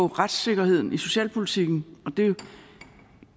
retssikkerheden i socialpolitikken og det